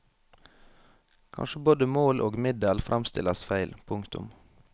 Kanskje både mål og middel fremstilles feil. punktum